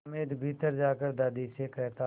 हामिद भीतर जाकर दादी से कहता